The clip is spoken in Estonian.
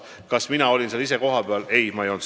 Kas mina olin ka ise kohal?